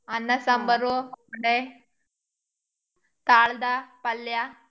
ಅನ್ನ ಸಾಂಬಾರು ವಡೆ. nospeech ಕಳ್ದ ಪಲ್ಯ.